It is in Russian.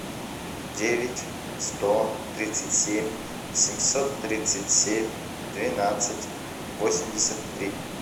девять сто тридцать семь семьсот тридцать семь двенадцать восемьдесят три